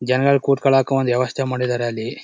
ಜನಗಳ್ ಕುರ್ತಿಕೊಳಕ್ಕೂ ಒಂದ್ ವ್ಯವಸ್ಥೆ ಮಾಡಿದ್ದಾರೆ ಅಲ್ಲಿ.